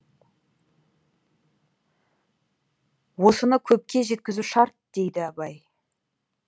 осыны көпке жеткізу шарт дейді абай